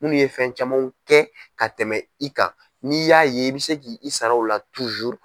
Munnu ye fɛn camanw kɛ ka tɛmɛ i kan n'i y'a ye i bɛ se ki i sara u la